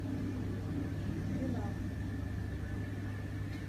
пинап